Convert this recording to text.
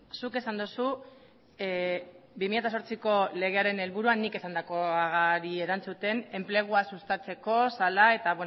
zuk esan duzu bi mila zortziko legearen helburua nik esandakoari erantzuten enplegua sustatzeko zela eta